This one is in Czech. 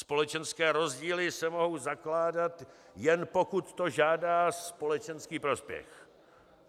Společenské rozdíly se mohou zakládat, jen pokud to žádá společenský prospěch."